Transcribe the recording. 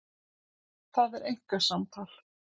Það er einkasamtal.